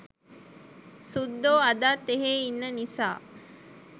සුද්දෝ අදත් එහේ ඉන්න නිසා